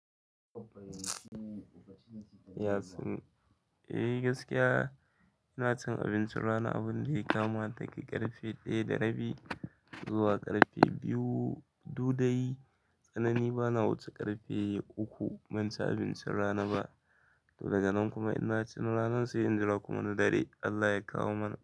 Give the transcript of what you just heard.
Eh gaskiya inacin abincin rana daga ƙarfe ɗaya da rabi zuwa ƙarfe biyu, du dai tsanani bana wuce ƙarfe uka banci abincin rana ba daga nan kuma in naci na ranan sai in jira na dare Allah ya kawo mana.